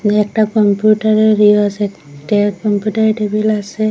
ওই একটা কম্পিউটারের রিয়াস একটা কম্পিউটারের টেবিল আসে।